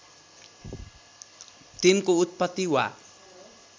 तिनको उत्पत्ति वा